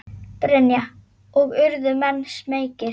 Brynja: Og urðu menn smeykir?